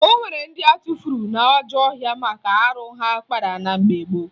O nwere ndị atụfuru n'ajọ ọhịa maka arụ ha kpara na mgbe gboo